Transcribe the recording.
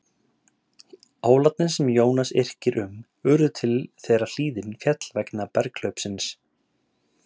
hólarnir sem jónas yrkir um urðu til þegar hlíðin féll vegna berghlaupsins